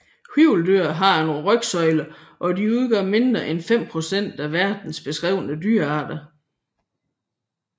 Hvirveldyr har en rygsøjle og de udgør mindre end fem procent af verdens beskrevne dyrearter